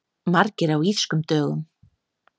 Margir á Írskum dögum